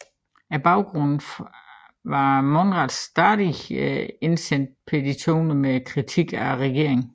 Baggrunden var Monrads stadig indsendte petitioner med kritik af regeringen